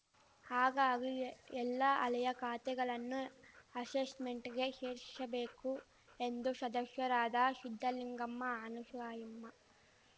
ಹಾಗಾಗಿ ಎಲ್ಲ ಹಳೇಯ ಖಾತೆಗಳನ್ನು ಅಶೆಶ್ಮೆಂಟಿಗೆ ಶೇರಿಸಬೇಕು ಎಂದು ಶದಸ್ಯರಾದ ಶಿದ್ದಲಿಂಗಮ್ಮ ಅನಶೂಯಮ್ಮ